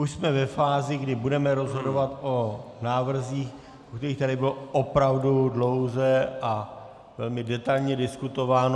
Už jsme ve fázi, kdy budeme rozhodovat o návrzích, o kterých tady bylo opravdu dlouze a velmi detailně diskutováno.